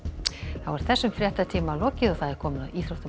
þá er þessum fréttatíma lokið og komið að íþróttum og